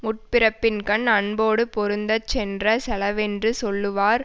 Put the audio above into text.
முற்பிறப்பின்கண் அன்போடு பொருந்தச் சென்ற செலவென்று சொல்லுவர்